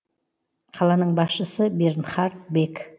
қаланың басшысы бернхард бек